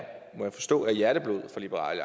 må jeg forstå er hjerteblod for liberal